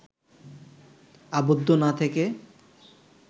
আবদ্ধ না থেকে